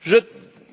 Je